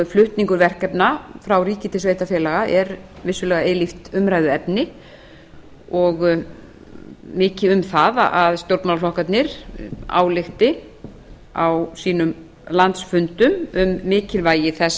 flutningur verkefna frá ríki til sveitarfélaga er vissulega eilíft umræðuefni og mikið um að stjórnmálaflokkarnir álykti á sínum landsfundum um mikilvægi þess